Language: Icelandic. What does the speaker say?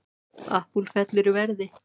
Apple fellur í verði